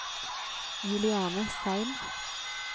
Juliane Seim